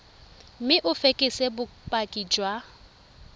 mme o fekese bopaki jwa